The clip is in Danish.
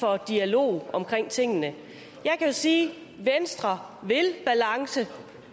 for dialog om tingene jeg kan sige at venstre vil balance